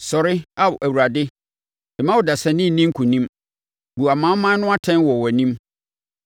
Sɔre! Ao Awurade, mma ɔdasani nni nkonim, bu amanaman no atɛn wɔ wʼanim.